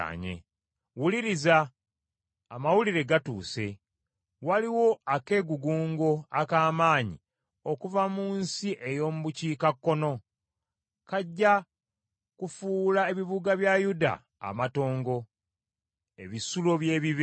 Wuliriza! Amawulire gatuuse, waliwo akeegugungo ak’amaanyi okuva mu nsi ey’omu bukiikakkono, kajja kufuula ebibuga bya Yuda amatongo, ebisulo by’ebibe.